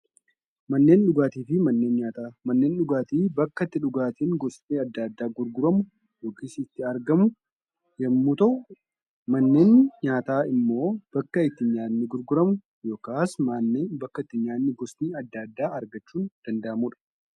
Manneen dhugaatiin bakka itti dhugaatiin gosti adda addaa gurguramu yookis itti argamu yemmuu ta'u, manneen nyaataa ammoo bakka itti nyaanni gurguramu yookaan bakka itti nyaanni gosti adda addaa argachuun itti danda'amudha.